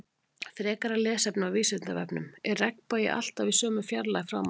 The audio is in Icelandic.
Frekara lesefni á Vísindavefnum: Er regnbogi alltaf í sömu fjarlægð frá manni?